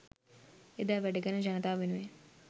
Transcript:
එදා වැඩකරන ජනතාව වෙනුවෙන්